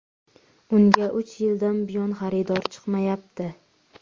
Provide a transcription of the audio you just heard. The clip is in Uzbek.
Unga uch yildan buyon xaridor chiqmayapti.